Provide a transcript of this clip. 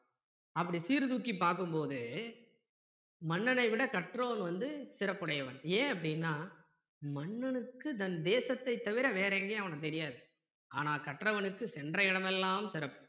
அப்படி சீர்தூக்கி பார்க்கும்போது மன்னனை விட கற்றோன் வந்து சிறப்புடையவன் ஏன் அப்படின்னா மன்னனுக்கு தன் தேசத்தை தவிர வேற எங்கேயும் அவனைத் தெரியாது ஆனா கற்றவனுக்கு சென்ற இடமெல்லாம் சிறப்பு